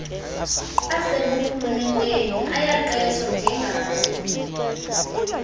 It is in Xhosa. aseburhulumenteni ayaqeshwa njengaye